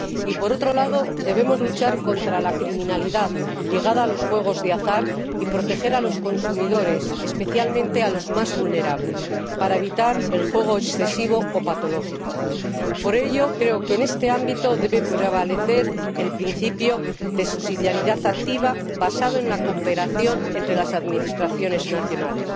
Y por otro lado, debemos luchar contra la criminalidad ligada a los juegos de azar y proteger a los consumidores, especialmente a los más vulnerables, para evitar el juego excesivo o patológico. Por ello, creo que en este ámbito debe prevalecer el principio de subsidiariedad activa basado en la cooperación entre las administraciones nacionales.